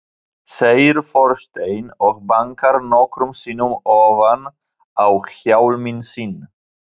segir forsetinn og bankar nokkrum sinnum ofan á hjálminn sinn.